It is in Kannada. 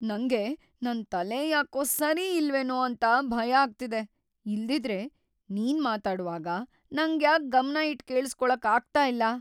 ನಂಗೆ ನನ್‌ ತಲೆ ಯಾಕೋ ಸರಿಯಿಲ್ವೇನೋ ಅಂತ ಭಯ ಆಗ್ತಿದೆ, ಇಲ್ದಿದ್ರೆ, ನೀನ್ ಮಾತಾಡ್ವಾಗ ನಂಗ್ಯಾಕ್ ಗಮ್ನ ಇಟ್ ಕೇಳಿಸ್ಕೊಳಕ್ಕೇ ಆಗ್ತಾ ಇಲ್ಲ?